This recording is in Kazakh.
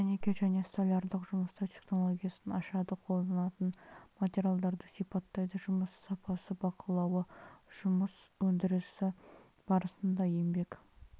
дәнекер және столярлық жұмыстар технологиясын ашады қолданылатын материалдарды сипаттайды жұмыс сапасы бақылауы жұмыс өндірісі барысында еңбек